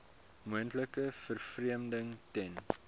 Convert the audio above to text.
moontlike vervreemding ten